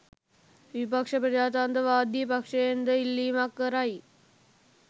විපක්ෂ ප්‍රජාතන්ත්‍රවාදී පක්ෂයෙන්ද ඉල්ලීමක් කරයි